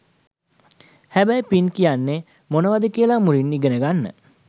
හැබැයි පින් කියන්නෙ මොනාද කියලා මුලින් ඉගෙන ගන්න.